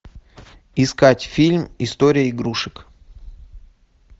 искать фильм история игрушек